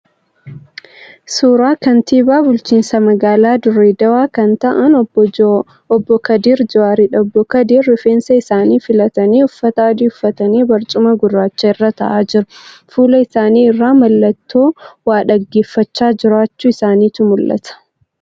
Suuraa kantiibaa bulchiinsa magaalaa Dirre Daawwaa kan ta'aan obbo Kadir Jawwaariidha. Obbo kadir rifeensa isaanii filatanii uffata adii uffatanii barcuma gurraacha irra ta'aa jiru. Fuula isaanii irraa mallattoo waa dhaggeeffachaa jiraachuu isaaniitu mul'ata.